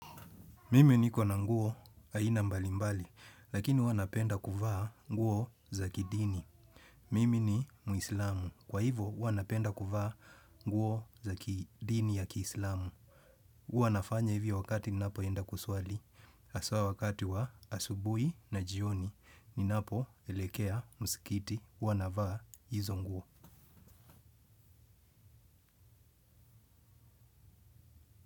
Mimi niko na nguo aina mbali mbali, lakini huwa napenda kuvaa nguo za kidini. Mimi ni muislamu, kwa hivo huwa napenda kuvaa nguo za kidini ya kiislamu. Huwanafanya hivyo wakati nina poenda kuswali, haswa wakati wa asubui na jioni, nina po elekea musikiti, huwa navaa hizo nguo.